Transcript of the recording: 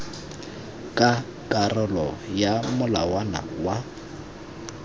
ka karolo ya molawana wa